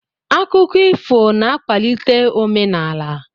Akụkọ ifo na-akwalite omenaala.